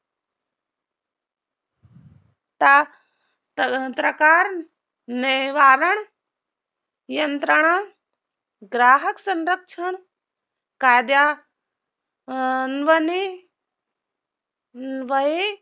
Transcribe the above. निवारण यंत्रणा ग्राहक संरक्षण कायदा